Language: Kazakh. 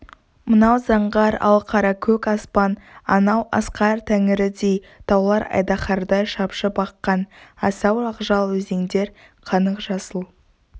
мынау заңғар алқаракөк аспан анау асқар тәңірідей таулар айдаһардай шапшып аққан асау ақжал өзендер қанық жасыл